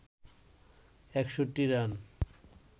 ৬১ run